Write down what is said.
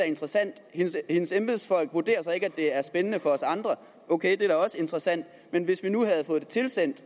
interessant hendes embedsfolk vurderer så ikke at det er spændende for os andre ok det er også interessant men hvis vi nu havde fået det tilsendt